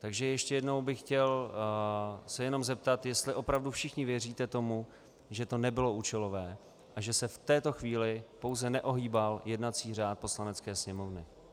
Takže ještě jednou bych se chtěl jenom zeptat, jestli opravdu všichni věříte tomu, že to nebylo účelové a že se v této chvíli pouze neohýbal jednací řád Poslanecké sněmovny.